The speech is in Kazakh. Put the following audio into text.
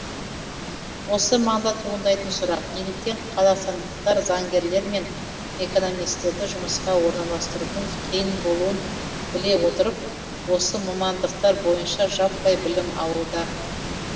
осы маңда туындайтын сұрақ неліктен қазақстандықтар заңгерлер мен экономистерді жұмысқа орналастырудың қиын болуын біле отырып осы мамандықтар бойынша жаппай білім алуда